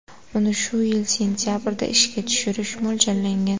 Uni shu yil sentabrda ishga tushirish mo‘ljallangan.